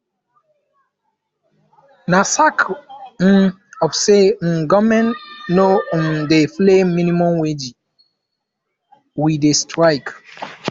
na sake um of say um government no um dey pay minimum wage we dey strike